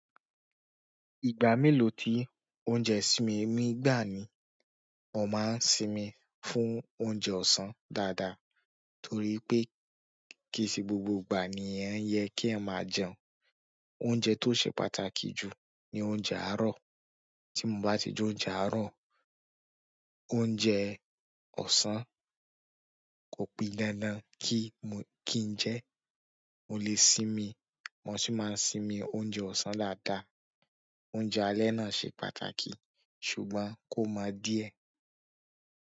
Ìgbà mélòó tí oúnjẹ sí mí, mi gbà ni mo máa ń sinmi fún oúnjẹ ọ̀sán dáadáa torí pé kì í ṣe gbogbo ìgbà ni ẹ́ yẹ kí ẹ máa jẹun. Oúnjẹ tó ṣe pàtàkì jù ni oúnjẹ àárọ̀. Tí mo bá tí jẹ oúnjẹ àárọ̀, oúnjẹ ọ̀sán kò pí dandan kí n jẹ́ mo lè sinmi. Mo tun má n sinmi oúnjẹ ọsan dada, oúnjẹ alẹ̀ na ṣe pàtàkì ṣùgbọ́n kò mọ diẹ.